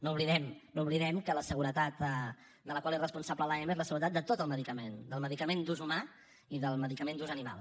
no oblidem no oblidem que la seguretat de la qual és responsable l’ema és la seguretat de tot el medicament del medicament d’ús humà i del medicament d’ús animal